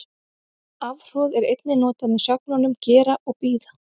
Afhroð er einnig notað með sögnunum gera og bíða.